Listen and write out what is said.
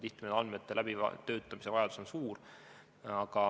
Tihtipeale on andmete läbitöötamise vajadus suur.